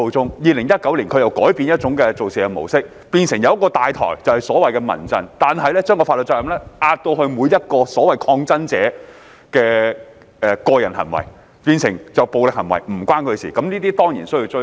到了2019年，他們又改用另一模式，由一個"大台"即民陣牽頭，但卻將法律責任描繪為每一抗爭者的個人行為，故此所有暴力行為均與民陣無關，對此我們當然必須追究。